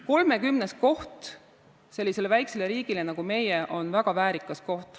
30. koht sellisele väiksele riigile, nagu meie oleme, on väga väärikas.